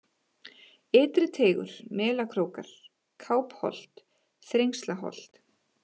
Ytri-Teigur, Melakrókar, Kápholt, Þrengslaholt